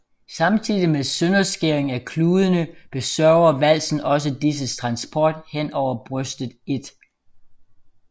Samtidig med sønderskæringen af kludene besørger valsen også disses transport hen over brystet l